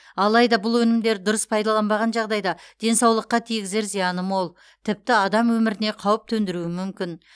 алайда бұл өнімдерді дұрыс пайдаланбаған жағдайда денсаулыққа тигізер зияны мол тіпті адам өміріне қауіп төндіруі мүмкін